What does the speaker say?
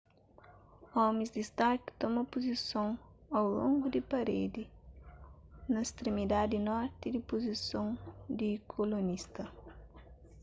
omis di stark toma puzison au longu di paredi na stremidadi norti di puzison di kolonista